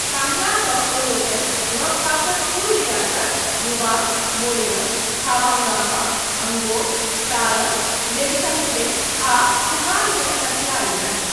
कांगलासँ ओलोकनि लगपासक कुल रियासत लुवांग, मोइरंग, खाबांगांमा, अंगोम, सारंग लेइशांगथेम आ खुमान केँ हथिया लेलनि।